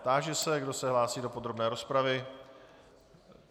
Táži se, kdo se hlásí do podrobné rozpravy.